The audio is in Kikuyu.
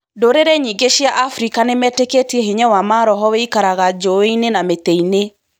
Ndũrĩrĩ nyingĩ cia Afrika nĩ metĩkĩtie hinya wa maroho wĩikaraga njũĩ-inĩ na mĩtĩ-inĩ.